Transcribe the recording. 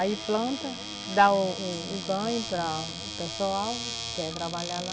Aí planta, dá o o o ganho para o pessoal lá que quer trabalhar lá.